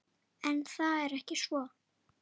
En það er ekki svo.